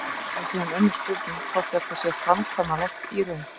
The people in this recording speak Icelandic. Það er síðan önnur spurning hvort þetta sé framkvæmanlegt í raun.